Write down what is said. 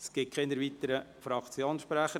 Es gibt keine weiteren Fraktionssprecher.